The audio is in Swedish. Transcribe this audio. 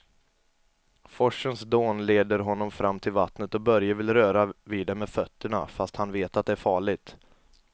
Forsens dån leder honom fram till vattnet och Börje vill röra vid det med fötterna, fast han vet att det är farligt.